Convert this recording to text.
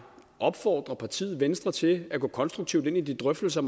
opfordre partiet venstre til at gå konstruktivt ind i de drøftelser